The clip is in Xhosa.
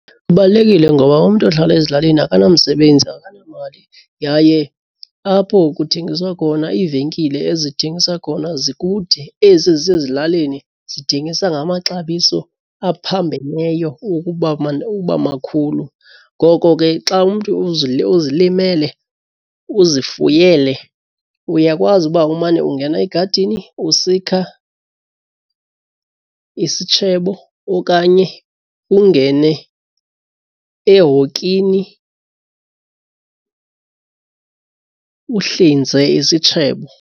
Kubalulekile ngoba umntu ohlala ezilalini akanamsebenzi akanamali yaye apho kuthengiswa khona iivenkile ezithengisa khona zikude. Ezi zisezilalini zithengisa ngamaxabiso aphambeneyo ukuba makhulu. Ngoko ke xa umntu uzilimele, uzifuyele uyakwazi uba umane ungena egadini usikha isishebo okanye ungene ehokini uhlinze isitshebo.